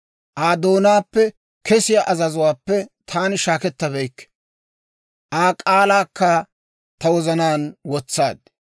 Aa doonaappe kesiyaa azazuwaappe taani shaakkettabeykke; Aa k'aalaakka ta wozanaan wotsaad.